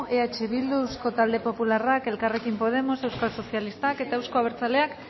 eh bildu eusko talde popularra elkarrekin podemos euskal sozialistak eta euzko abertzaleak